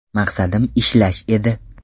Maqsadim ishlash edi.